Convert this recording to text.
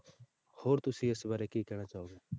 ਹੋਰ ਤੁਸੀਂ ਇਸ ਬਾਰੇ ਕੀ ਕਹਿਣਾ ਚਾਹੋਗੇ?